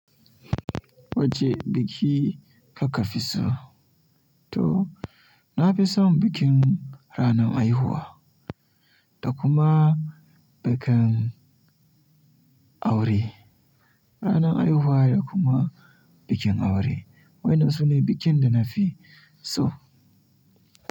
Wacce biki kuka fi so? To, na fi son bikin ranar haihuwa da kuma bikin aure. Ranar haihuwa da kuma bikin aure. Wa'innan su ne bikin da na fi so.